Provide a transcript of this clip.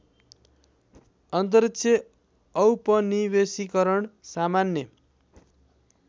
अन्तरिक्ष औपनिवेशीकरण सामान्य